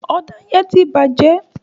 Ọ̀dà yẹ́n tí bàjẹ́